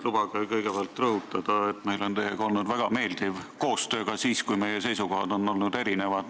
Lubage kõigepealt rõhutada, et meil on olnud teiega väga meeldiv koostöö ka siis, kui meie seisukohad on olnud erinevad.